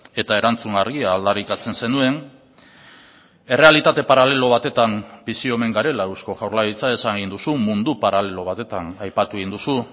eta erantzun argia aldarrikatzen zenuen errealitate paralelo batetan bizi omen garela eusko jaurlaritza esan egin duzu mundu paralelo batetan aipatu egin duzu